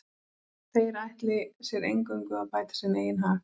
Þeir ætli sér eingöngu að bæta sinn eigin hag.